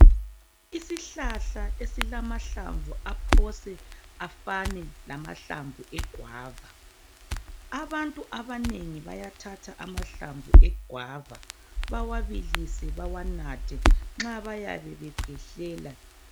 Isihlahla esilamahlamvu aphose afane lamahlamvu e-guava. Abantu abanengi bayathatha amahlamvu e-guava bawabilise bawanathe nxa bayabe bekhwehlela.